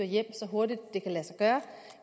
hjem så hurtigt det kan lade sig gøre